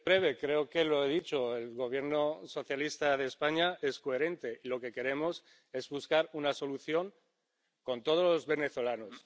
Señor presidente, brevemente ―creo que ya lo he dicho― el Gobierno socialista de España es coherente. Lo que queremos es buscar una solución con todos los venezolanos.